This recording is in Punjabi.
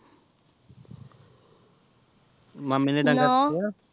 ਮਾਮੇ ਨੇ ਰਖਿਆ